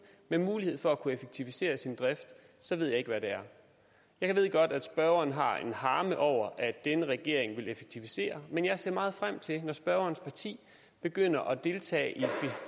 med mulighed for at kunne effektivisere sin drift så ved jeg ikke hvad det er jeg ved godt at spørgeren har en harme over at denne regering vil effektivisere men jeg ser meget frem til når spørgerens parti begynder at deltage i